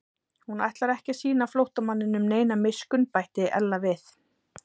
Hún ætlar ekki að sýna flóttamanninum neina miskunn bætti Ella við.